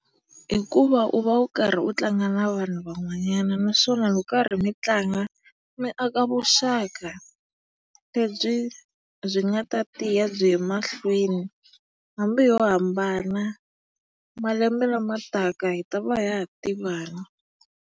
Hikuva u va u karhi u tlanga na vanhu van'wanyana naswona loko karhi mi tlanga, mi aka vuxaka lebyi byi nga ta tiya byi ya emahlweni. Hambi ho hambana, malembe lama taka hi ta va ha ha tivana.